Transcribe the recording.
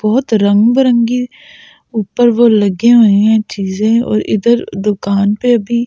बहुत रंगबरंगी ऊपर वो लगे हुए हैं चीजें और इधर दुकान पे अभी--